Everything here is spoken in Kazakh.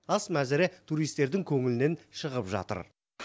ас мәзірі туристердің көңілінен шығып жатыр